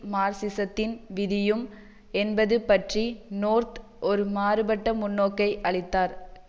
மார்க்சிசத்தின் விதியும் என்பது பற்றி நோர்த் ஒரு மாறுபட்ட முன்னோக்கை அளித்தார்